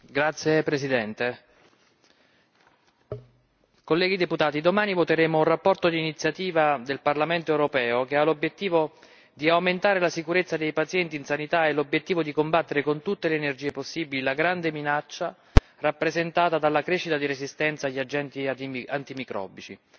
Signor Presidente, onorevoli colleghi, domani voteremo una relazione d'iniziativa del Parlamento europeo che ha l'obiettivo di aumentare la sicurezza dei pazienti nella sanità e l'obiettivo di combattere con tutte le energie possibili la grande minaccia rappresentata dalla crescita della resistenza agli agenti antimicrobici.